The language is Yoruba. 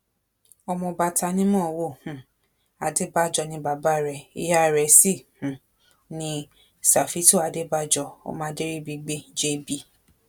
ọmọọba tanímọ̀ọ́wọ̀ um adébájọ ni bàbá rẹ ìyá rẹ sí um ní ṣàfítù adébájọ ọmọ adéríbigbé jp